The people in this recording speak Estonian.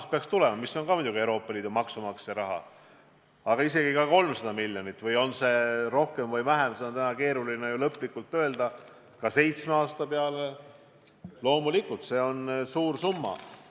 Ka see summa on muidugi Euroopa Liidu maksumaksja raha, aga isegi 300 miljonit – võib-olla on seda rohkem või vähem, seda on täna keeruline lõplikult öelda – seitsme aasta peale on loomulikult suur summa.